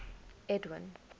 edwin